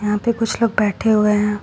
यहां पे कुछ लोग बैठे हुए हैं।